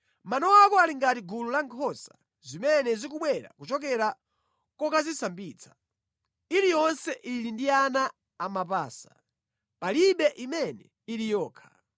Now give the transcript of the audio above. Mano ako ali ngati gulu la nkhosa zimene zikubwera kuchokera kokazisambitsa, iliyonse ili ndi ana amapasa, palibe imene ili yokha.